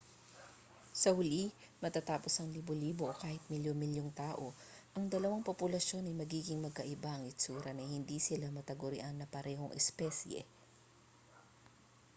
sa huli matapos ang libo-libo o kahit milyon-milyong taon ang dalawang populasyon ay magiging magkaiba ang hitsura na hindi sila matagurian na parehong espesye